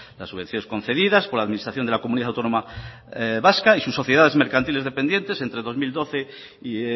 las subvenciones concedidas por la administración de la comunidad autónoma vasca y sus sociedades mercantiles dependientes entre